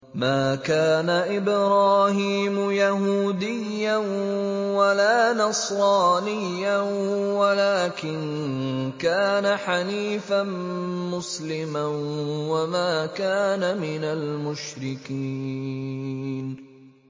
مَا كَانَ إِبْرَاهِيمُ يَهُودِيًّا وَلَا نَصْرَانِيًّا وَلَٰكِن كَانَ حَنِيفًا مُّسْلِمًا وَمَا كَانَ مِنَ الْمُشْرِكِينَ